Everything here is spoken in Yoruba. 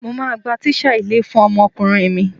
Mo máa gba tíṣà ilé fún ọmọkùnrin mi.